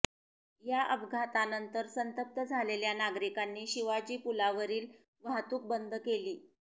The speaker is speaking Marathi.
या अपघातानंतर संतप्त झालेल्या नागरिकांनी शिवाजी पुलावरील वाहतूक बंद केली